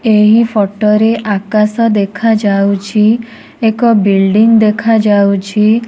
ଏହି ଫୋଟୋ ରେ ଆକାଶ ଦେଖାଯାଉଛି ଏକ ବୁଇଲ୍ଡିଙ୍ଗ ଦେଖାଯାଉଛି।